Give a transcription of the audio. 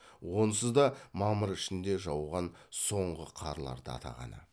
онысы да мамыр ішінде жауған соңғы қарларды атағаны